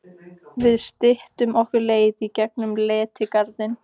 Við styttum okkur leið í gegn um Letigarðinn.